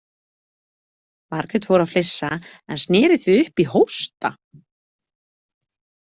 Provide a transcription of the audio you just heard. Margrét fór að flissa en sneri því upp í hósta.